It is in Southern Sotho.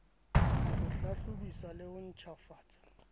ho hlahlobisa le ho ntjhafatsa